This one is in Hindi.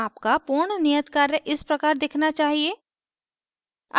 आपका पूर्ण नियत कार्य इस प्रकार दिखना चाहिए